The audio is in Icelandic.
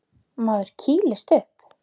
Maður kýlist upp.